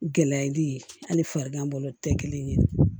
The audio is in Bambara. Gɛlɛyali ye hali farigan bolo tɛ kelen ye